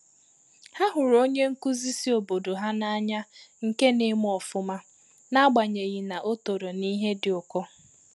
Ha hụrụ onye nkuzi si obodo ha n’anya nke na-eme ofụma n’agbanyeghị na ọ toro n’ihe dị ụkọ.